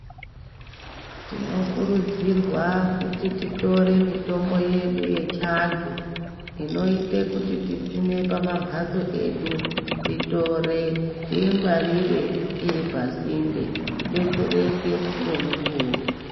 Tinokurudzirwa kuti titore mitombo yedu inoita kuti tisime pamambatso edu titore tiingwarire iri pasinde tidetsereke ngomukuwo.